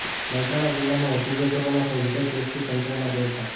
મહેસાણા જિલ્લામાં વધુ બે કોરોના પોઝિટિવ કેસથી તંત્રમાં દોડધામ